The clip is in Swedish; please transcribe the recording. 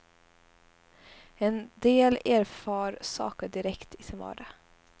En del erfar saker direkt i sin vardag.